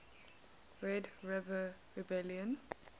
red river rebellion